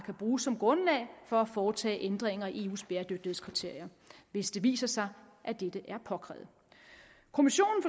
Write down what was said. kan bruges som grundlag for at foretage ændringer i eus bæredygtighedskriterier hvis det viser sig at dette er påkrævet kommissionen